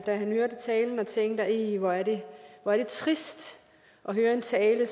hørte talen og tænkte ih hvor er det trist at høre en tale